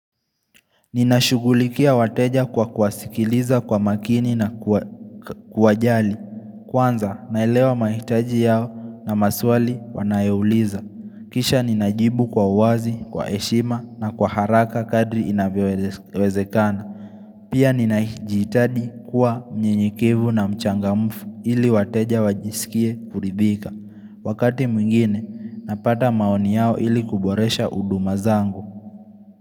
Ninashughulikia wateja kwa kuwasikiliza kwa makini na kuwajali Kwanza naelewa mahitaji yao na maswali wanayouliza Kisha ninajibu kwa uwazi, kwa heshima na kwa haraka kadri inavyowezekana Pia ninajihitaji kuwa mnyenyekevu na mchangamfu ili wateja wajisikie kuridhika Wakati mwingine napata maoni yao ili kuboresha huduma zangu.